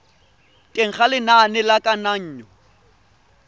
teng ga lenane la kananyo